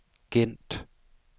Gent